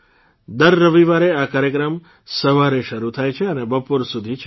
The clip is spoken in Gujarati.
દર રવિવારે આ કાર્યક્રમ સવારે શરૂ થાય છે અને બપોર સુધી ચાલે છે